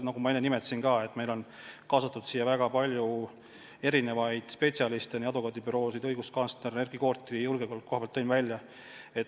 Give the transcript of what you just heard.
Nagu ma enne nimetasin, meil on kaasatud väga palju spetsialiste: advokaadibürood, õiguskantsler, Erkki Koort julgeolekuasjatundjana.